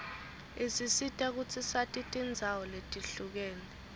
isisita kutsi sati tindzawo letihlukene